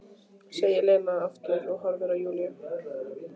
segir Lena aftur og horfir á Júlíu.